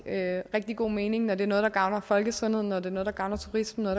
rigtig god mening når det er noget der gavner folkesundheden når det er noget der gavner turismen når